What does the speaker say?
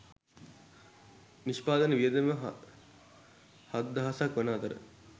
නිෂ්පාදන වියදම හත්දහසක් වන අතර